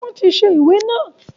Wọn tí ṣe ìwé naa